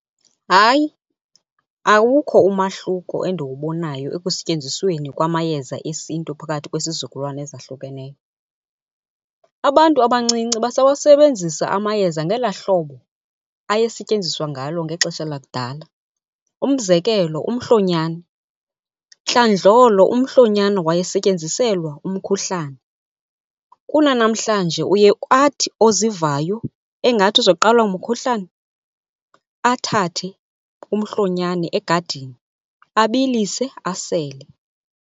Hayi, awukho umahluko endiwubonayo ekusetyenzisweni kwamayeza esiNtu phakathi kwesizukulwana ezahlukeneyo. Abantu abancinci basawasebenzisa amayeza ngelaa hlobo ayesetyenziswa ngalo ngexesha lakudala. Umzekelo umhlonyane, ntlandlolo umhlonyane wayesetyenziselwa umkhuhlane. Kunanamhlanje uye athi ozivayo engathi uzoqalwa ngumkhuhlane athathe umhlonyane egadini abilise asele.